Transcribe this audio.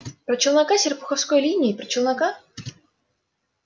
про челнока с серпуховской линии про челнока